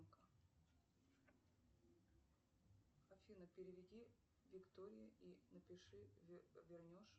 афина переведи виктории и напиши вернешь